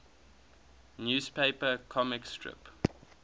newspaper comic strip